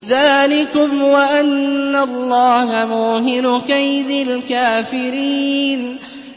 ذَٰلِكُمْ وَأَنَّ اللَّهَ مُوهِنُ كَيْدِ الْكَافِرِينَ